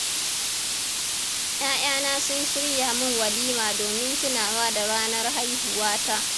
Ya'yana sun shirya min walima domin tunawa da ranar haihuwata.